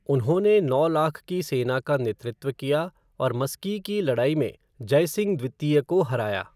उन्होंने नौ लाख की सेना का नेतृत्व किया और मस्की की लड़ाई में जयसिंह द्वितीय को हराया।